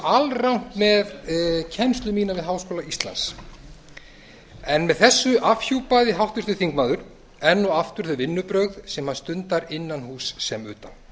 alrangt með kennslu mína við háskóla íslands en þessu afhjúpaði háttvirtur þingmaður enn og aftur þau vinnubrögð sem hann stundar innan húss sem utan